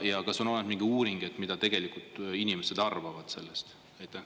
Ja kas on olemas mingi uuring, mida tegelikult inimesed arvavad sellest?